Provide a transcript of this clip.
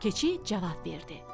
Keçi cavab verdi.